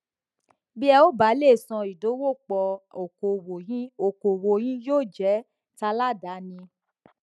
bí ẹ ò bá lè ṣe ìdòwòpò okòwò yín okòwò yín yóò jé taládàáni